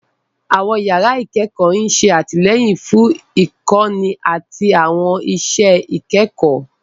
Àwọn yàrá ìkẹ́kọ̀ọ́ ń ṣe àtìlẹ́yìn fún ìkọ́ni àti àwọn iṣẹ́ ìkẹ́kọ̀ọ́.